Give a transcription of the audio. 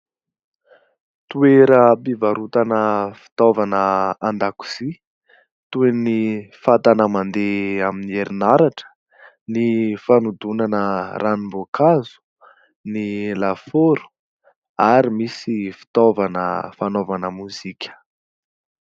Toeram-pivarotana fitaovana an-dakozia toy ny fatana mandeha amin'ny herinaratra, ny fanodonana ranom-boakazo, ny lafaoro ary misy fitaovana fanaovana mozika.